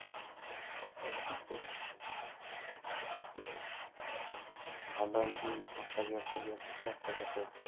ଭଲ ଏମିତି ଦେଖିବ